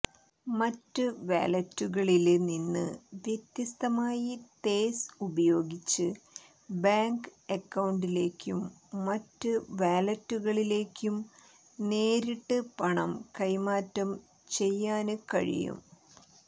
മറ്റ് വാലറ്റുകളില് നിന്ന് വ്യത്യസ്തമായി തേസ് ഉപയോഗിച്ച് ബാങ്ക് അക്കൌണ്ടിലേക്കും മറ്റ് വാലറ്റുകളിലേക്കും നേരിട്ട് പണം കൈമാറ്റം ചെയ്യാന് കഴിയും